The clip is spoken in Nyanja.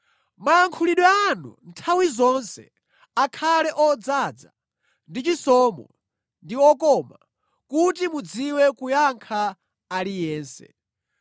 Mayankhulidwe anu nthawi zonse akhale odzaza ndi chisomo ndi okoma, kuti mudziwe kuyankha aliyense.